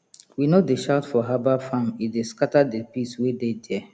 we no dey shout for herbal farm e dey scatter the peace wey dey there